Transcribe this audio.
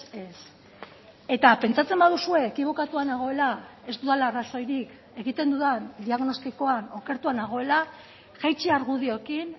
ez eta pentsatzen baduzue ekibokatua nagoela ez dudala arrazoirik egiten dudan diagnostikoan okertua nagoela jaitsi argudioekin